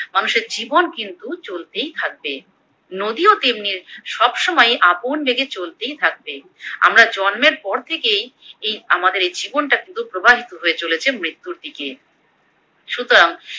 মানুষের জীবন কিন্তু চলতেই থাকবে, নদীও তেমনি সবসময়ই আপন বেগে চলতেই থাকবে, আমরা জন্মের পর থেকেই এই আমাদের এই জীবনটাই পুরো প্রবাহিত হয়ে চলেছে মৃত্যুর দিকে, সুতরাং